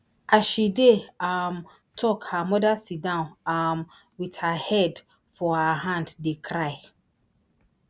as she dey um tok her mother sidon um wit her head for her hand dey cry